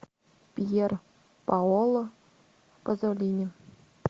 пьер паоло пазолини